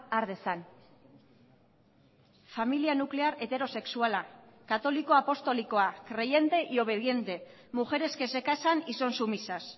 har dezan familia nuklear heterosexuala katoliko apostolikoa creyente y obediente mujeres que se casan y son sumisas